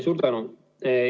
Suur tänu!